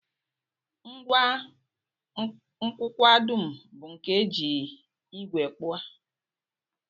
Ngwa nkụkwa dum bu nke e ji ígwè kpụọ